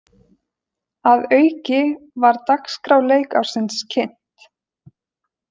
Að auki var dagskrá leikársins kynnt